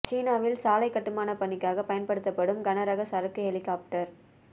சீனாவில் சாலை கட்டுமானப் பணிக்காக பயன்படுத்தப்படும் கன ரக சரக்கு ஹெலிகாப்டர்